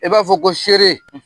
I b'a fɔ ko seere.